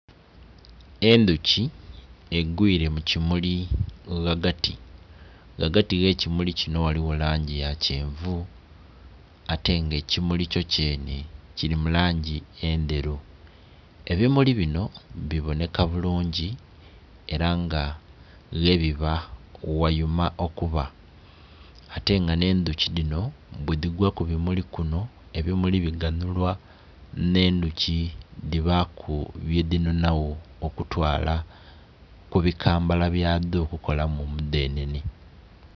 Endhuki egwile mu kimuli ghagati, ghagati ghe kimuli kinho ghaligho langi ya kyenvu ate nga ekimuli kyo kyenhe kili mu langi endheru. Ebimuli binho bibonheka bulungi ela nga ghebiba ghayuma okuba, ate nga nh'endhuki dhinho bwe dhigwa ku bimuli binho ebimuli biganhulwa nh'endhuki dhibaaku byedhinonagho okutwala ku bikambala byadho okukolamu omudhenhenhe.